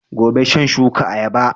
Gobe shan shuka ayaba